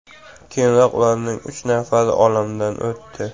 Keyinroq ularning uch nafari olamdan o‘tdi.